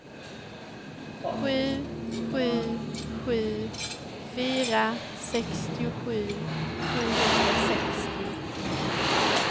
sju sju sju fyra sextiosju sjuhundrasextio